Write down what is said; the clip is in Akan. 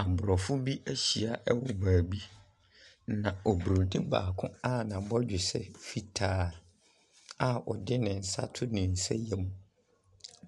Aborɔfo bi ahyia wɔ baabi, na Oburonin baako a n'abɔdwesɛ fitaa a ɔdene nsa ato ne nsa yam.